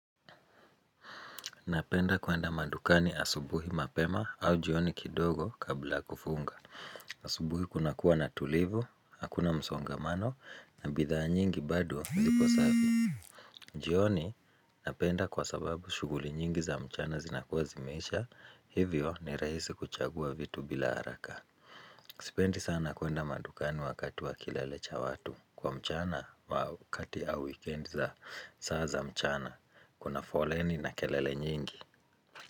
Napenda kuenda madukani asubuhi mapema au jioni kidogo kabla ya kufunga. Asubuhi kuna kuwa na tulivu, hakuna msongamano na bidhaa nyingi bado zipo safi. Jioni napenda kwa sababu shughuli nyingi za mchana zinakuwa zimeisha. Hivyo ni rahisi kuchagua vitu bila haraka. Sipendi sana kuenda madukani wakati wa kilele cha watu kwa mchana wakati au wikendi za saa za mchana. Kuna foleni na kelele nyingi.